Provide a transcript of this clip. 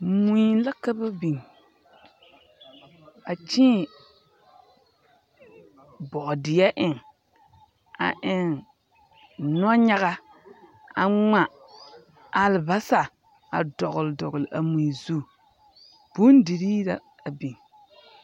Mui la ka babiŋ, a kyẽẽ bɔɔdeɛ eŋ, a eŋ nɔnyaga, a ŋma alebasa a dɔgele dɔgele a mui zu. Bondirii la a biŋ.